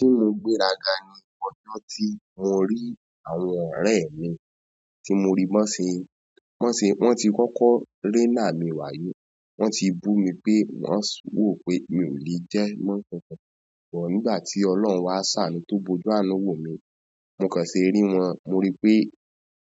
Ti mo gbéra ga ni ọjọ́ tí mo rí àwọn ọ̀rẹ́ mi, tí mo rí bi won se, wọ́n ti kọ́kọ́ rẹ́nà mi wáyé. Wọ́n ti bú mi pé wọ́n wò pé mi ò lè jẹ́ mọ́kànkan. Nígbà tí Ọlọ́run wá ṣàánú tó bojú àánú wò mí, mo kàn ṣe rí wọn. Mo rí pé